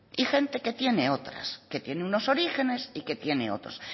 y gente que tiene otras que tiene unos orígenes y que tiene otros